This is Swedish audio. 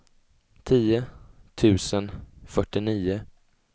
tio tusen fyrtionio